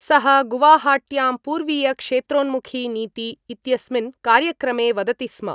सः गुवाहाट्यां पूर्वीय क्षत्रोन्मुखी नीति इत्यस्मिन् कार्यक्रमे वदति स्म।